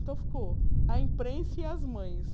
Então, ficou a imprensa e as mães.